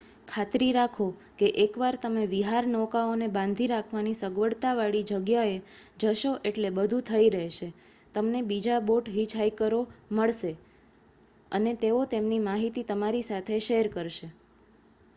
ખાતરી રાખો કે એકવાર તમે વિહારનૌકાઓને બાંધી રાખવાની સગવડવાળી જગ્યાએ જશો એટલે બધું થઈ રહેશે તમને બીજા બોટ હિચહાઇકરો મળશે અને તેઓ તેમની માહિતી તમારી સાથે શેર કરશે